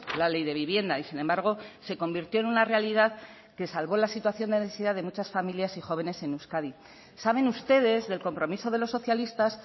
la ley de vivienda y sin embargo se convirtió en una realidad que salvó la situación de necesidad de muchas familias y jóvenes en euskadi saben ustedes del compromiso de los socialistas